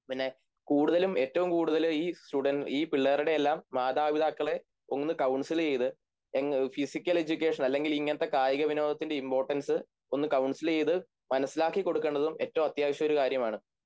പിന്നെ കൂടുതലും ഏറ്റവുംകൂടുതല് ഈ പിള്ളേരുടെയെല്ലാം മാതാപിതാക്കളെ ഒന്ന് കൗൺസിൽചെയ്ത് ഫിസിക്കൽ എഡ്യൂക്കേഷൻ അല്ലെങ്കിലിങ്ങനത്തെ കായികവിനോദത്തിൻ്റെ ഇമ്പോര്ടൻസ് ഒന്ന് കൌൺസിൽ ചെയ്ത് മനസ്സിലാക്കിക്കൊടുക്കേണ്ടതും ഏറ്റവും അത്യാവശ്യകാര്യമാണ്